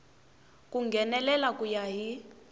ku nghenelela ku ya hi